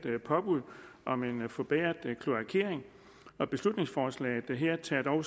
påbud om en forbedret kloakering beslutningsforslaget her tager dog